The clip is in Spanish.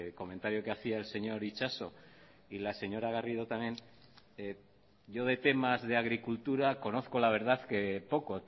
comentario que hacia el señor itxaso y la señora garrido también yo de temas de agricultura conozco la verdad que poco